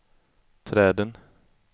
träden